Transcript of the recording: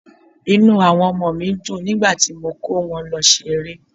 Inú àwọn ọmọ mi dùn nígbà tí mo kó wọn lọ ṣeré.